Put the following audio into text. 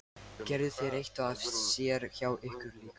Gerðu þeir eitthvað af sér hjá ykkur líka?